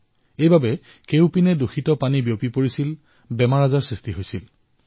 ফলত দুষিত পানী ইফালেসিফালে বিয়পি পৰিছিল ৰোগৰ সৃষ্টি হৈছিল